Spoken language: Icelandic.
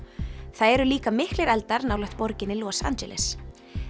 það eru líka miklir eldar nálægt borginni Los Angeles